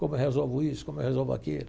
Como eu resolvo isso, como eu resolvo aquilo.